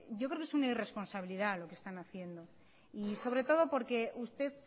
yo creo que es una irresponsabilidad lo que están haciendo y sobre todo porque usted